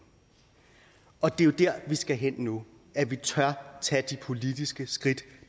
og det er jo der vi skal hen nu at vi tør tage de politiske skridt